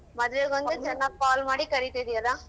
ಮದ್ವೆಗೊಂದೆ ಚೆನಾಗಿ call ಮಾಡಿ ಕರಿತಿದ್ದಿಯಲ್ಲ?